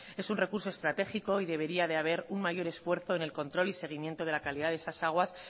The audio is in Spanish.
es un recurso estratégico y debería de haber un mayor esfuerzo en el control y seguimiento de la calidad de esas aguas